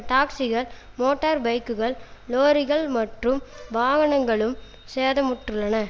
டாக்சிகள் motor பைக்குகள் லொரிகள் மற்றும் வாகனங்களும் சேதமுற்றுள்ளன